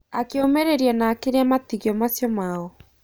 Akĩũmĩrĩria na akĩrĩa matigio macio mao.